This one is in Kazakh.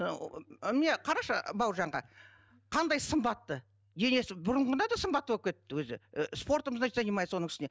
ыыы міне қарашы бауыржанға қандай сымбатты денесі бұрынғыдан да сымбатты болып кетіпті өзі і спортом значить занимается оның үстіне